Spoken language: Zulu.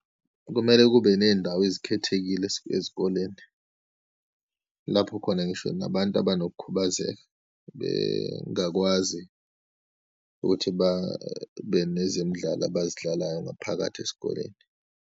Kumele kube neyindawo ezikhethekile ezikoleni, lapho khona ngisho nabantu abanokhubazeka bengakwazi ukuthi babe nezemidlalo abazidlalayo ngaphakathi esikoleni.